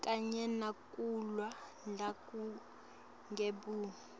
kanye nekulwa nebugebengu